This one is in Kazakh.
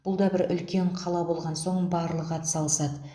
бұл да бір үлкен қала болған соң барлығы атсалысады